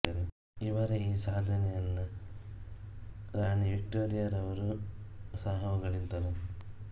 ಇವರ ಈ ಸಾಧನೆಯನ್ನ ರಾಣಿ ವಿಕ್ಟೋರಿಯ ರವರೂ ಸಹ ಹೊಗಳಿದರು